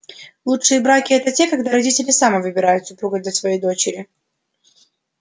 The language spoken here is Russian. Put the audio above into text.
лучшие браки это те когда родители сами выбирают супруга для своей дочери